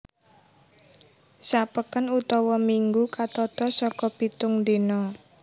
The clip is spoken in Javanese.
Sa peken utawa minggu katata saka pitung dina